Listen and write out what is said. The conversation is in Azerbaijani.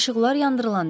İşıqlar yandırılında.